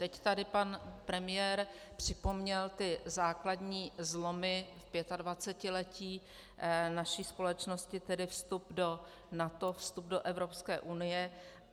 Teď tady pan premiér připomněl ty základní zlomy v pětadvacetiletí naší společnosti, tedy vstup do NATO, vstup do Evropské unie.